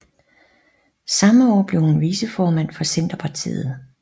Samme år blev hun viceformand for Centerpartiet